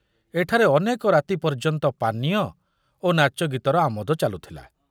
ଏଠାରେ ଅନେକ ରାତି ପର୍ଯ୍ୟନ୍ତ ପାନୀୟ ଓ ନାଚଗୀତର ଆମୋଦ ଚାଲୁଥିଲା।